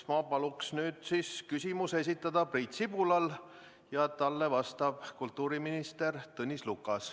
Ma palun nüüd Priit Sibulal küsimus esitada, talle vastab kultuuriminister Tõnis Lukas.